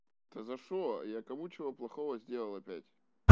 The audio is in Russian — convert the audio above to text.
то за что я кому чего плохого сделал опять